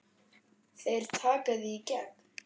Þeir taka þig í gegn!